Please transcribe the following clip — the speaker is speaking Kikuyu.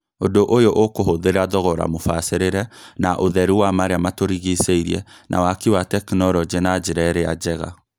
Ũndũ ũyũ ũkũhũthĩra thogora mũbacĩrĩre na ũtheru wa marĩa matũrigicĩirie na waki wa tekinolonjĩ na njĩra ĩrĩa njega.